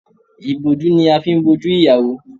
Ìbòjú ni a fi n bo ojú ìyàwó